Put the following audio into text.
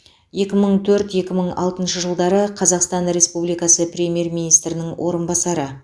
екі мың төрт екі мың алтыншы жылдары қазақстан республикасы премьер министрінің орынбасары